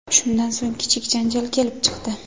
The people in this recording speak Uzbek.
Shundan so‘ng, kichik janjal kelib chiqdi.